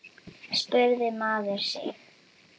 spurði maður sig.